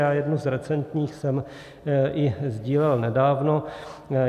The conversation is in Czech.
Já jednu z recentních jsem i sdílel nedávno.